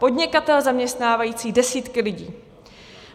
Podnikatel zaměstnávající desítky lidí.